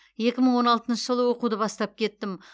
екі мың он алтыншы жылы оқуды бастап кеттім